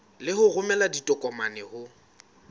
le ho romela ditokomane ho